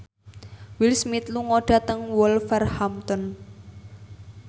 Will Smith lunga dhateng Wolverhampton